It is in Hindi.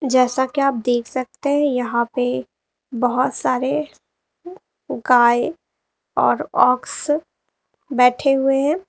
जैसा कि आप देख सकते हैं यहां पे बहुत सारे गाय और ऑक्स बैठे हुए हैं।